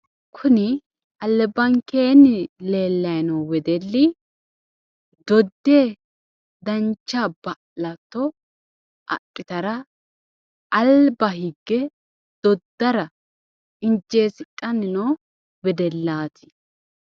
Kuni albankeenni leellayi noo wedelli dodde dancha ba'latto adhitara alba higge doddara injjeessidhanni noo wedellaati.